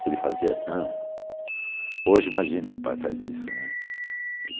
Se ele fazia assim... Hoje, imagina, pai faz isso, né?